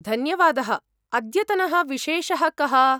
धन्यवादः, अद्यतनः विशेषः कः ?